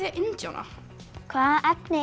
indíána hvaða efni